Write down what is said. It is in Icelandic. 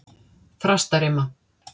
Þrastarima